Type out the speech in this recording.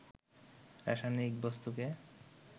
রাসায়নিক বস্তুকে